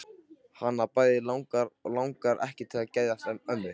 Hana bæði langar og langar ekki til að geðjast mömmu.